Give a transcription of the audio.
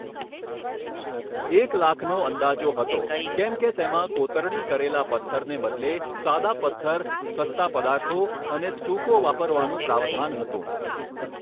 એક લાખનો અંદાજો હતો કેમ કે તેમાં કોતરણી કરેલા પથ્થરને બદલે સાદા પથ્થર, સસ્તા પદાર્થો અને સ્ટુકો વાપરવાનું પ્રાવધાન હતું.